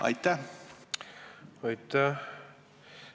Aitäh!